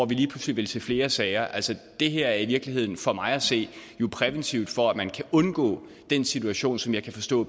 vi lige pludselig vil se flere sager altså det her er i virkeligheden for mig at se jo præventivt for at man kan undgå den situation som jeg kan forstå